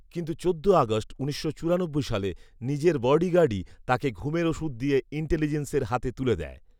কিন্তু চোদ্দ আগস্ট উনিশশো চুরানব্বই সালে নিজের বডি গার্ডই তাঁকে ঘুমের ওষুধ দিয়ে ইন্টেলিজেন্সের হাতে তুলে দেয়